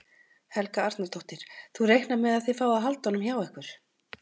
Helga Arnardóttir: Þú reiknar með að þið fáið að halda honum hjá ykkur?